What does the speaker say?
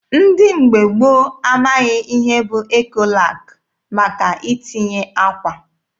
Ndị mgbe gboo amaghị ihe bụ Ekolak maka itinye akwa.